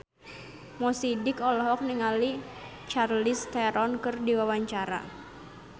Mo Sidik olohok ningali Charlize Theron keur diwawancara